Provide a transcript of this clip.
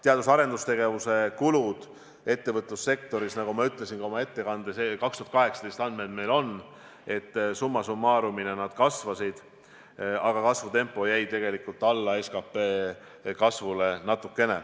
Teadus- ja arendustegevuse kulud ettevõtlussektoris, nagu ma ütlesin ka oma ettekandes – meil on 2018. aasta andmed –, summa summarum kasvasid, aga kasvutempo jäi tegelikult natukene alla SKT kasvule.